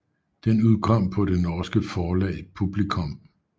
Den udkom på det norske forlag Publicom